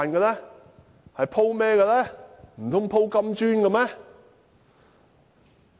難道是鋪金磚嗎？